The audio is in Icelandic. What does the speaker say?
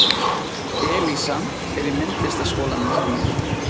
Elísa er í myndlistaskólanum hjá mér.